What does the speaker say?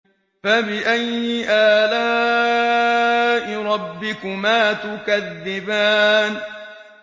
فَبِأَيِّ آلَاءِ رَبِّكُمَا تُكَذِّبَانِ